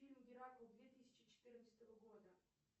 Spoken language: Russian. фильм геракл две тысячи четырнадцатого года